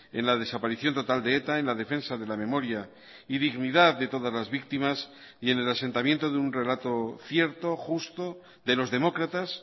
en la desaparición total de eta en la defensa de la memoria y dignidad de todas las víctimas y en el asentamiento de un relato cierto justo de los demócratas